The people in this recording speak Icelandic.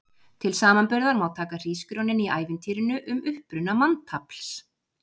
Til samanburðar má taka hrísgrjónin í ævintýrinu um uppruna manntafls.